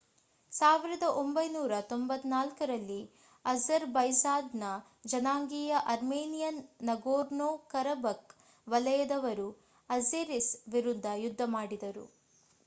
1994 ರಲ್ಲಿ ಅಝರ್‌ಬೈಜಾನ್‌ನ ಜನಾಂಗೀಯ ಅರ್ಮೇನಿಯನ್ ನಗೋರ್ನೋ-ಕರಬಖ್‌ ವಲಯದವರು ಅಝೆರಿಸ್ ವಿರುದ್ಧ ಯುದ್ಧ ಸಾರಿದರು